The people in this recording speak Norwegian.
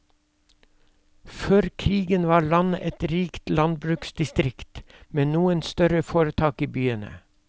Før krigen var landet et rikt landbruksdistrikt, med noen større foretak i byene.